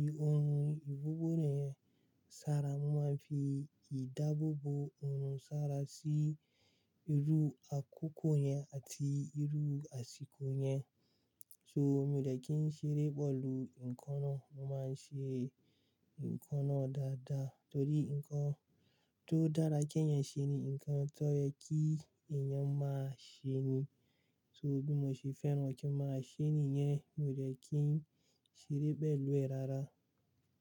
i ohun ìbabobo orun náà sára. Mo máa ń fi ìdáàbò bò òòrùn sára sí irú àkókò yẹn àti irú àsìkò yẹn. So, mi ò dẹ̀ kí ń ṣeré bọ́ọ̀lù, nǹkan náà, mo máa ń ṣe nǹkan náà dáadáa torí nǹkan tó dára kí èèyàn ṣe ni nǹkan tó yẹ kí èèyàn máa ṣe ni. So, bí mo ṣe fẹ́ràn kin máa ṣe nìyẹn, mi ò dẹ̀ kí ń ṣeré bọ́ọ̀lù ẹ́ rárá.